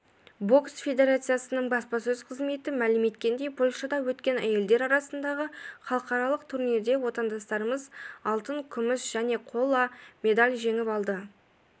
бокс федерациясының баспасөз қызметі мәлім еткендей польшада өткен әйелдер арасындағы халықаралық турнирде отандастарымыз алтын күміс және қола медаль жеңіп алды